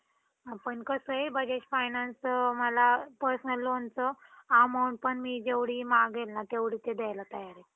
Ma'am मला E commerce बद्दल माहिती हवी होती. E commerce काय आहे? त्यात काय असते? ते कसं business करायचं? हे सर्व काही.